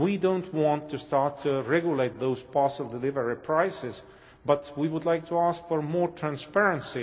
We do not want to start to regulate those parcel delivery prices, but we would like to ask for more transparency.